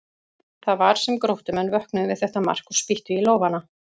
Það var sem Gróttumenn vöknuðu við þetta mark og spýttu í lófana.